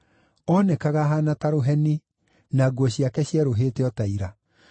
Oonekaga ahaana ta rũheni, na nguo ciake cierũhĩte o ta ira.